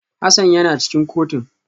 Hassan yana cikin kotun